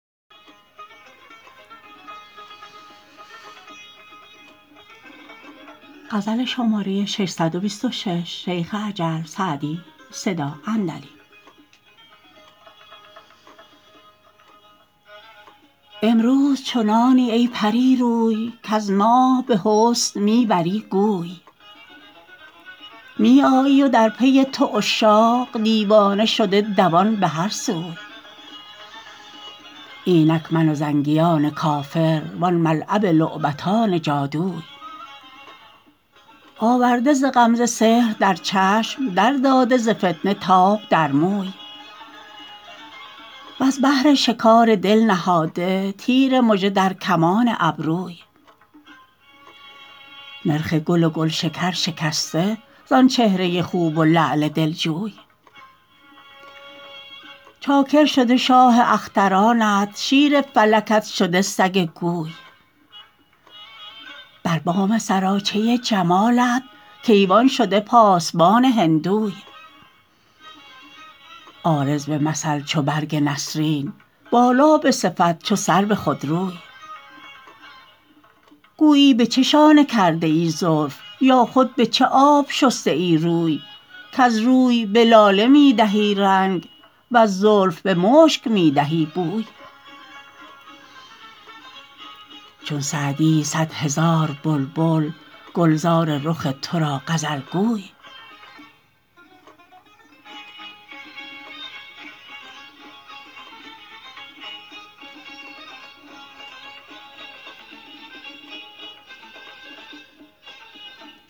امروز چنانی ای پری روی کز ماه به حسن می بری گوی می آیی و در پی تو عشاق دیوانه شده دوان به هر سوی اینک من و زنگیان کافر وان ملعب لعبتان جادوی آورده ز غمزه سحر در چشم در داده ز فتنه تاب در موی وز بهر شکار دل نهاده تیر مژه در کمان ابروی نرخ گل و گلشکر شکسته زآن چهره خوب و لعل دلجوی چاکر شده شاه اخترانت شیر فلکت شده سگ کوی بر بام سراچه جمالت کیوان شده پاسبان هندوی عارض به مثل چو برگ نسرین بالا به صفت چو سرو خودروی گویی به چه شانه کرده ای زلف یا خود به چه آب شسته ای روی کز روی به لاله می دهی رنگ وز زلف به مشک می دهی بوی چون سعدی صد هزار بلبل گلزار رخ تو را غزل گوی